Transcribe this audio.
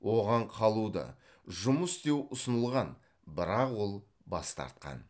оған қалуды жұмыс істеу ұсынылған бірақ ол бас тартқан